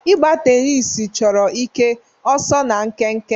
Ịgba tenisi chọrọ ike, ọsọ na nkenke.